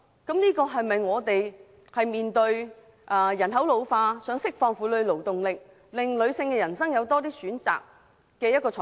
本港面對人口老化的問題，應釋放婦女勞動力，令女性的人生有更多選擇。